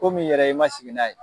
ko min yɛrɛ ye i man sigi n'a ye.